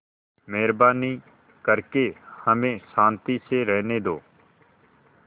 मेहरबानी करके हमें शान्ति से रहने दो